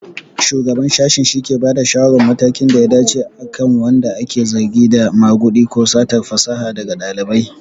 Shugaban Sashen shike bada shawarar matakin da ya dace akan wanda ake zargi da magudi ko satar fasaha daga ɗalibai.